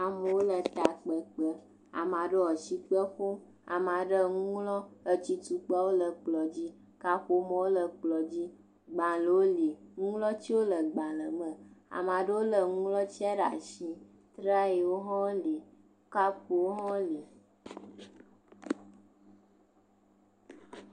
Amewo le takpekpe, ame aɖewo le asikpe ƒom, ame aɖewo nu ŋlɔm atsi tukpawo le kplɔ dzi, kaƒomɔ le kplɔ dzi gbalẽwo li nuŋlɔtiwo le agblẽme ame aɖewo lé nuŋlɔtia ɖe asi, trayiwo hã li, kapewo hã li